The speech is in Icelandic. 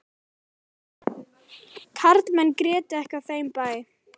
Karlmenn grétu ekki á þeim bæ.